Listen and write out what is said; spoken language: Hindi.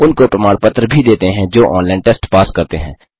उनको प्रमाण पत्र भी देते हैं जो ऑनलाइन टेस्ट पास करते हैं